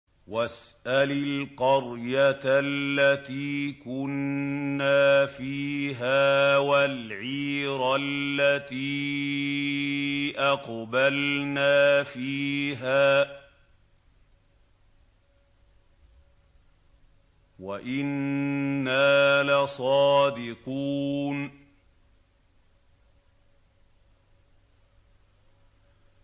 وَاسْأَلِ الْقَرْيَةَ الَّتِي كُنَّا فِيهَا وَالْعِيرَ الَّتِي أَقْبَلْنَا فِيهَا ۖ وَإِنَّا لَصَادِقُونَ